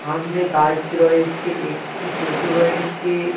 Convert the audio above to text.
সামনে গাছ রয়েছে একটি টোটো রয়েছে।